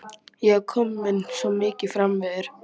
Ég var komin svo mikið framyfir.